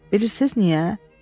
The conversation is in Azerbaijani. Bilirsiniz niyə?